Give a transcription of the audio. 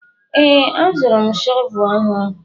Ee, azụrụ m shọvel ọhụrụ.